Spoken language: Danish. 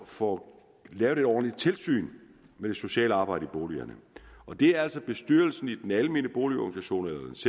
får lavet et ordentligt tilsyn med det sociale arbejde i boligerne og det er altså bestyrelsen i den almene boligorganisation